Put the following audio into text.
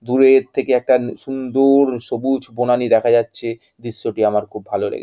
দূরে-এর থেকে একটা সুন্দ-ওর সবুজ বনানী দেখা যাচ্ছে। দৃশ্যটি আমার খুব ভালো লেগে --